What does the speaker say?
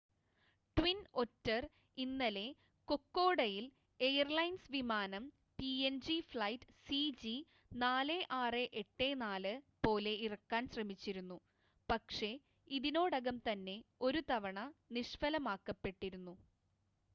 twin Otter ഇന്നലെ കൊക്കോഡയിൽ airlines വിമാനം പിഎൻജി ഫ്ലൈറ്റ് സിജി4684 പോലെ ഇറക്കാൻ ശ്രമിച്ചിരുന്നു പക്ഷേ ഇതിനോടകം തന്നെ ഒരുതവണ നിഷ്‌ഫലമാക്കപ്പെട്ടിരുന്നു